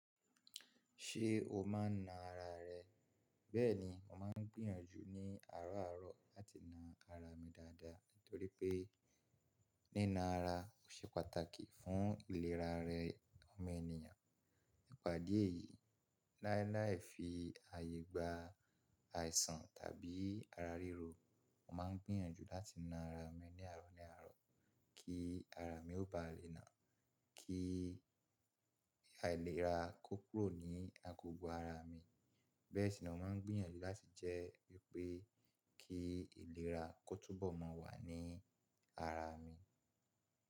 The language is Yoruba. Ṣé o máa ń na ara rẹ? Bẹ́ẹ̀ni, mo máa ń gbìyànjú ní àárọ̀ àárọ̀ láti na ara mi dáadáa nítorí pé nína ara ò ṣe pàtàkì fún ìlera rẹ ọmọ ènìyàn. Ìpàdé yìí láíláí fi àyè gba àìsàn tàbí ara ríro. Mo ma ń gbìyànjú láti na ara mi ní àárọ̀ ní àárọ̀ kí ara mi ó ba lè na kí àìlera kó kúrò ní agogo ara mi. Bẹ́ẹ̀ sì ni mo ma ń gbìyànjú láti jẹ́ wípé kí ìlera kó túbọ̀ máa wà ní ara mi.